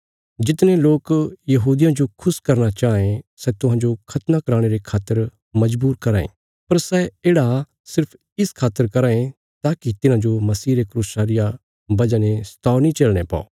जितने लोक यहूदियां जो खुश करना चांये सै तुहांजो खतना कराणे रे खातर मजबूर कराँ ये पर सै येढ़ा सिर्फ इस खातर कराँ ये ताकि तिन्हांजो मसीह रे क्रूसा रिया वजह ने सताव नीं झेलणे पौ